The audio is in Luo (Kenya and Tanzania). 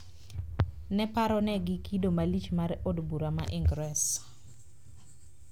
Ne paronegi kido malich mar od bura ma Ingresa